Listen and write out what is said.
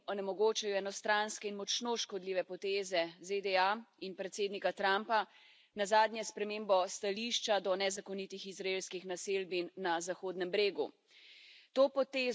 Zastrupljajo in onemogočajo ju enostranske in močno škodljive poteze ZDA in predsednika Trumpa, nazadnje s spremembo stališča do nezakonitih izraelskih naselbin na Zahodnem bregu.